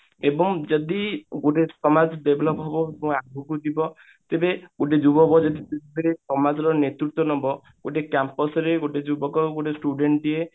ଏବଂ ଯଦି ଗୋଟେ ସମାଜ develop ହେବ ବା ଆଗକୁ ଯିବ ତେବେ ଗୋଟେ ଯୁବକ ଯଦି ସମାଜ ର ନେତୃତ୍ଵ ନବ ଗୋଟେ Camus ରେ ଗୋଟେ ଯୁବକ ଗୋଟେ student ଟିଏ